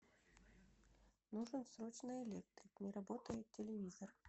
нужен срочно электрик не работает телевизор